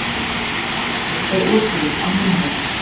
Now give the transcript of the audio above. Í vatni er oturinn á heimavelli.